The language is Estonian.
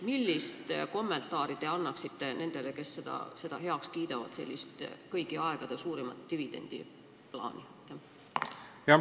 Millise kommentaari te annaksite nendele, kes kiidavad sellise kõigi aegade suurimate dividendide plaani heaks?